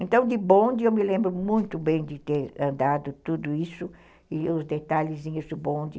Então, de bonde, eu me lembro muito bem de ter andado tudo isso e os detalhezinhos do bonde.